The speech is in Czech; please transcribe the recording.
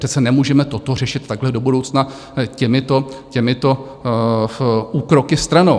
Přece nemůžeme toto řešit takhle do budoucna těmito úkroky stranou.